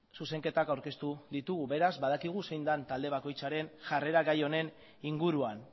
zuzenketak aurkeztu ditugu beraz badakigu zein den talde bakoitzaren jarrera gai honen inguruan